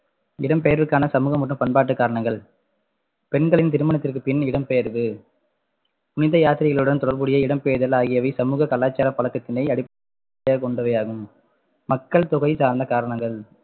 இடம்பெயர்வுக்கான சமூக மற்றும் பண்பாட்டு காரணங்கள் பெண்களின் திருமணத்திற்கு பின் இடம்பெயர்வு புனித யாத்திரைகளுடன் தொடர்புடைய இடம் பெயர்தல் ஆகியவை சமூக கலாச்சார பழக்கத்தினை அடிப்படையாக கொண்டவை ஆகும் மக்கள் தொகை சார்ந்த காரணங்கள்